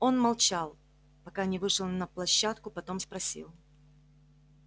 он молчал пока не вышел на площадку потом спросил